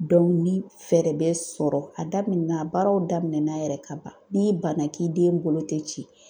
ni fɛɛrɛ bɛ sɔrɔ a daminɛ na baaraw daminɛ na yɛrɛ ka ban n'i banna k'i den bolo tɛ ci